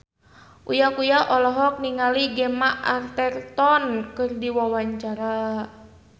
Uya Kuya olohok ningali Gemma Arterton keur diwawancara